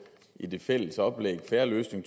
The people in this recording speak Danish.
i det fælles oplæg fair løsning